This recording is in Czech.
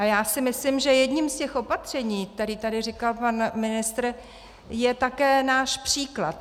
A já si myslím, že jedním z těch opatření, která tady říkal pan ministr, je také náš příklad.